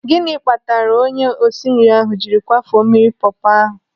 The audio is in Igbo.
Gịnị kpatara onye osinri ahụ jiri kwafuo mmiri pọọpọ ahụ?